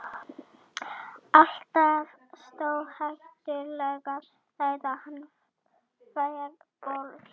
Alltaf stórhættulegur þegar hann fær boltann.